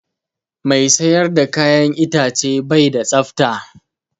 Mai siyar da ka'yan itace bai da tsafta.